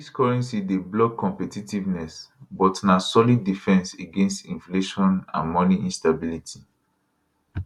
dis currency dey block competitiveness but na solid defence against inflation and money instability